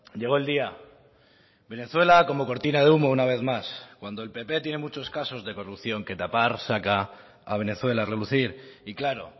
llegó el día venezuela como cortina de humo una vez más cuando el pp tiene muchos casos de corrupción que tapar saca a venezuela a relucir y claro